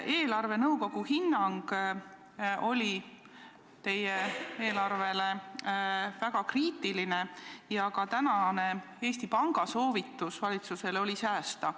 Eelarvenõukogu hinnang teie eelarvele oli väga kriitiline ja ka tänane Eesti Panga soovitus valitsusele on säästa.